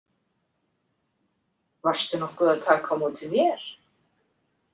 Varstu nokkuð að taka á móti mér?